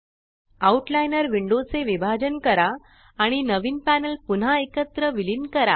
out liner window चे विभाजन करा आणि नवीन पॅनल पुन्हा एकत्र विलीन करा